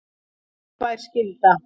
Þungbær skylda